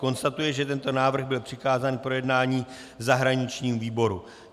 Konstatuji, že tento návrh byl přikázán k projednání zahraničnímu výboru.